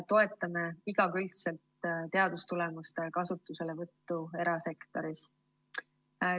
Toetame igakülgselt teadustulemuste kasutuselevõttu erasektoris.